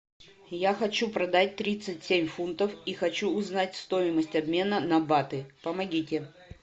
я хочу продать тридцать семь фунтов и хочу узнать стоимость обмена на баты помогите